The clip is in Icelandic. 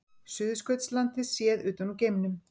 Suðurskautslandið séð utan úr geimnum.